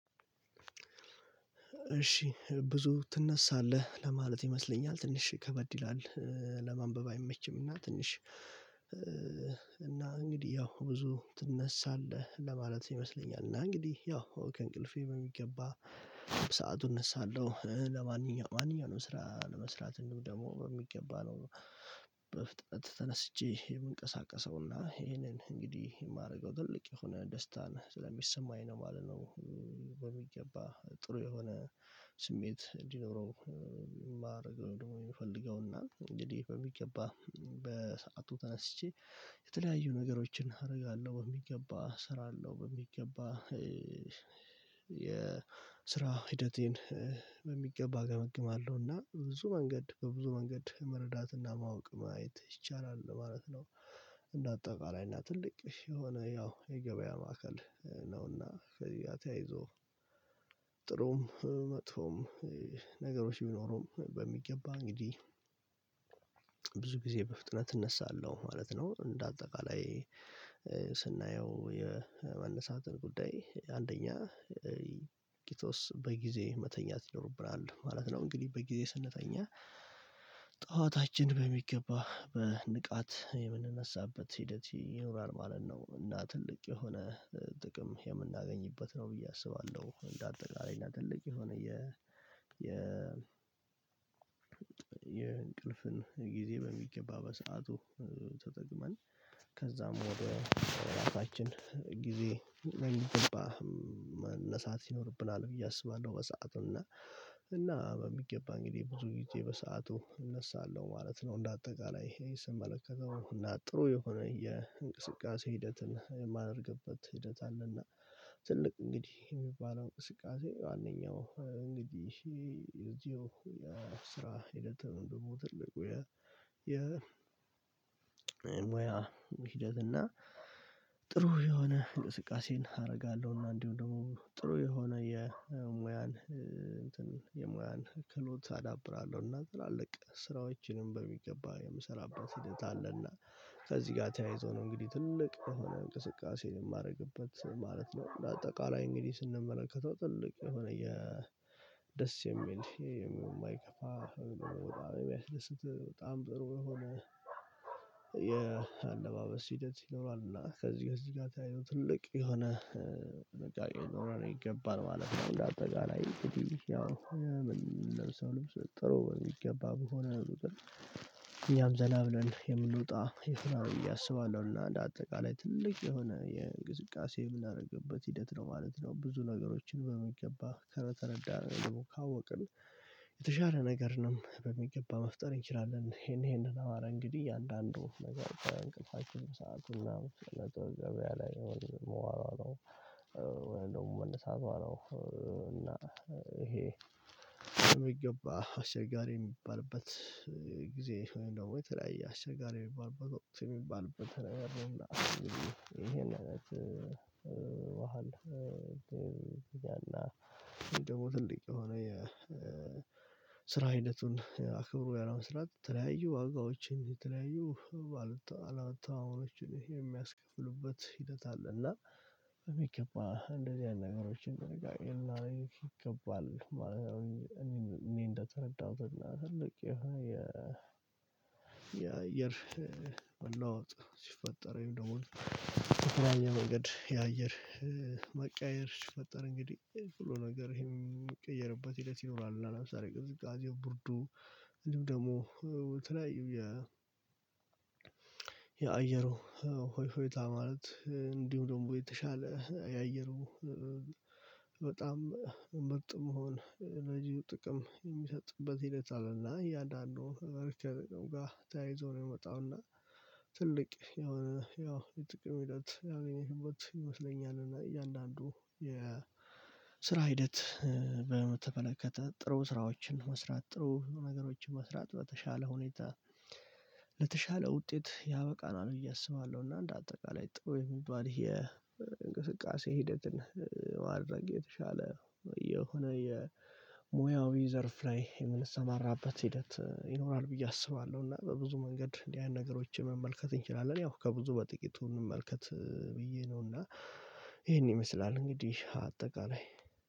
እሺ ብዙ ትነሳለህ ለማለት ይመስለኛል ትንሽ ከበድ ይላል። ለማንበብ አይመችም እና ትንሽ። እና እንግዲህ ያው ብዙ ትነሳለህ ለማለት ይመስለኛል እና እንግዲህ ያው ከእንቅልፌ በሚገባ ሰዓቱ እነሳለሁ ለማንኛውም ማንኛውንም ስራ ለመስራት እንዲሁም ደግሞ በሚገባ ነው። በፍጥነት ተነስቼ የምንቀሳቀሰው እና ይሄንን እንግዲህ የማደርገው ትልቅ የሆነ ደስታን ስለሚሰማኝ ነው ማለት ነው። በሚገባ ጥሩ የሆነ ስሜት እንዲኖረው ማረግ ነው። ደግሞ የምፈልገው እና እንግዲህ በሚገባ በሰአቱ ተነስቼ የተለያዩ ነገሮችን አደርጋለሁ። በሚገባ ስራለው በሚገባ የስራ ሂደቴን በሚገባ ገመግማለሁ እና ብዙ መንገድ በብዙ መንገድ መረዳት እና ማወቅ ማየት ይቻላል ማለት ነው። እና አጠቃላይ እና ትልቅ የሆነ ያው የገበያ ማዕከል ነው እና ከዚህ ጋር ተያይዞ መጥፎም ነገሮች ቢኖሩም በሚገባ እንግዲህ ብዙ ጊዜ በፍጥነት እነሳለሁ ማለት ነው። እንደ አጠቃላይ ስናየው የመነሳትን ጉዳይ አንደኛ ቂጦስ በጊዜ መተኛት ይኖርብናል ማለት ነው። እንግዲህ በጊዜ ስንተኛ ጠዋታችን በሚገባ በንቃት የምንነሳበት ሂደት ይኖራል ማለት ነው። እና ትልቅ የሆነ ጥቅም የምናገኝበት ነው ብዬ አስባለሁ። እንደ አጠቃላይ እና ትልቅ የሆነ የ የ የእንቅልፍን ጊዜ በሚገባ በሰአቱ ተጠቅመን ከዛም ወደ ራሳችን ጊዜ በሚገባ መነሳት ይኖርብናል ብዬ አስባለሁ። በሰአቱ እና እና በሚገባ እንግዲህ ብዙ ጊዜ በሰአቱ እነሳለሁ ማለት ነው። እንደ አጠቃላይ ስመለከተው እና ጥሩ የሆነ የእንቅስቃሴ ሂደትን የማደርግበት ሂደት አለና። ትልቅ እንግዲህ የሚባለው እንቅስቃሴ ዋናኛው እንግዲህ እዚሁ የስራ ሂደት ወይም ደግሞ የ የ የሙያ ሂደት እና ጥሩ የሆነ እንቅስቃሴን አደርጋለሁ። እና እንዲሁ ደግሞ ጥሩ የሆነ የሙያን የሙያን ክህሎት አዳብራለሁ እና ትላልቅ ስራዎችንም በሚገባ የምሰራበት ሂደት አለና። ከዚህ ጋር ተያይዞ ነው እንግዲህ ትልቅ የሆነ እንቅስቃሴ የማደርግበት ማለት ነው። እንደ አጠቃላይ እንግዲህ ስንመለከተው ትልቅ የሆነ የ ደስ የሚል የማይከፋ የሚያስደስት በጣም ጥሩ የሆነ የአለባበስ ሂደት ይኖራል እና ከዚህከእዚህ ጋር ተያይዞ ትልቅ የሆነ ነገር ሊኖረን ይገባን ማለት ነው። እንደ አጠቃላይ ምለብሰው ልብስ ጥሩ በሚገባ በሆነ ቁጥር እኛም ዘና ብለን የምንወጣ ብዬ አስባለሁና እንደ አጠቃላይ ትልቅ የሆነ የእንቅስቃሴ የምናደርግበት ሂደት ነው ማለት ነው። ብዙ ነገሮችን በሚገባ ከተረዳን ወይም ደግሞ ካወቅን የተሻለ ነገር ነው በሚገባ መፍጠር እንችላለን። ይሄን ይሄንን አማራ እንግዲህ አንዳንዱ ነገር እንቅልፋችሁ ሰአቱና ነገር ገበያ ላይ መዋላው እንደውም መመለስ አለው እና ይሄ የሚገባ አስቸጋሪ የሚባልበት ጊዜ ነው ወይ ተለያይ አስቸጋሪ የሚባልበት ወይ የሚባልበት ነገር ነው? ይሄን አይነት መሃል ድልድይ እና ደግሞ ትልቅ የሆነ የስራ ሂደቱን አክብሮ ያለመስራት ተለያዩ ዋጋዎችን የተለያዩ አወጣ አላወጣ አሁኖችን የሚያስከፍሉበት ሂደት አለ። እና በሚገባ እንደዚህ ያሉ ነገሮችን በሚገባ ይገባል። ማለት እኔ እንደተረዳሁት ትልቅ የየአየር መለዋወጥ ሲፈጠር ወይም ደግሞ ትክክለኛ መንገድ የአየር መቀየር ሲፈጠር እንግዲህ ሁሉ ነገር የሚቀየርበት ሂደት ይኖራል። እና ለምሳሌ ቅዝቃዜው ቡርዱ እንዲሁም ደግሞ የተለያዩ የ የአየሩ ሁኔታ ማለት እንዲሁ ደግሞ የተሻለ የአየሩ ያየርኩ በጣም ምርጥ መሆን ለዚሁ ጥቅም የሚሰጥበት ሂደት አለና። እያንዳንዱን በርከን ተያይዞ ነው የመጣውና ትልቅ የሆነ ያው የጥቅም ሂደት ያው የሚሄድበት ይመስለኛል። እና እያንዳንዱ የስራ ሂደት በተመለከተ ጥሩ ስራዎችን መስራት ጥሩ ነገሮችን መስራት በተሻለ ሁኔታ ውጤት ያበቃናል ብዬ አሰባለሁ። እና እንደ አጠቃላይ ጥሩ የሚባል የእንቅስቃሴ ሂደትን ማድረግ የተሻለ የሆነ የሙያዊ ዘርፍ ላይ የምንሰማራበት ሂደት ይኖራል ብዬ አስባለሁ። እና በብዙ መንገድ ያን ነገሮችን መመልከት እንችላለን ያው ከብዙ በጥቂቱ እንመልከት ብዬ ነውና ይሄን ይመስላል እንግዲህ አጠቃላይ